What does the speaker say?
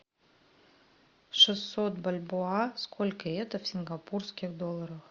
шестьсот бальбоа сколько это в сингапурских долларах